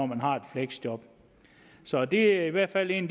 man har et fleksjob så det er i hvert fald en